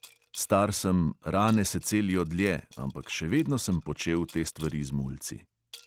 Star sem, rane se celijo dlje, ampak še vedno sem počel te stvari z mulci.